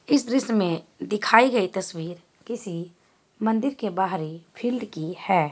इस दृश मे दिखाई गई तस्वीर किसी मंदिर के बाहरी फील्ड की हैं।